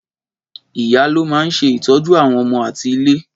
Ìyá ló máa ń ṣe ìtọ́jú àwọn ọmọ ati ìlé.